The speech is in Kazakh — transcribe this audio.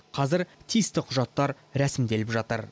қазір тиісті құжаттар рәсімделіп жатыр